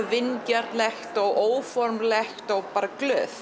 vingjarnlegt og óformlegt og bara glöð